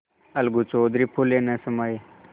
अलगू चौधरी फूले न समाये